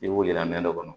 I b'u yira nɛn dɔ kɔnɔ